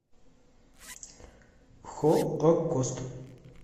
холокост